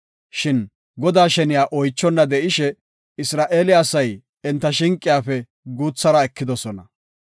Shin Godaa sheniya oychonna de7ishe, Isra7eele asay enta shinqiyafe guuthara ekidosona.